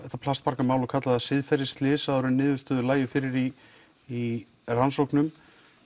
þetta plastbarkamál og kalla það siðferðisslys áður en niðurstöður lægi fyrir í í rannsóknum